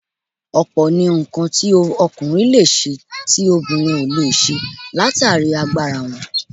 Ọ̀pọ̀ ni nǹkan tí ọkùnrin leè ṣe tí obìnrin ò lè ṣe látàrí agbára wọn